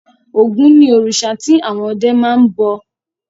Ògún ni òrìṣà tí àwọn ọdẹ máa ń bọ.